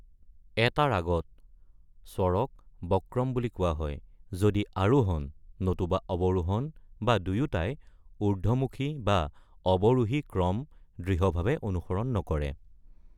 এটা ৰাগত স্বৰক বক্ৰম বুলি কোৱা হয়, যদি আৰোহণ, নতুবা অৱৰোহণ বা দুয়োটাই, ঊৰ্ধ্বমুখী বা অৱৰোহী ক্ৰম দৃঢ়ভাৱে অনুসৰণ নকৰে।